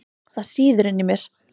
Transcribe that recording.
Það sýður inni í mér.